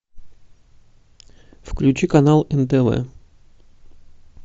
включи канал нтв